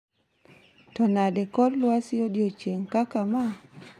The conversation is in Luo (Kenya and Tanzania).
To nade kor lwasi odiochieng'kaka ma?